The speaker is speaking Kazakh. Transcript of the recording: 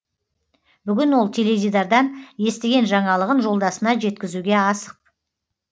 бүгін ол теледидардан естіген жаңалығын жолдасына жеткізуге асық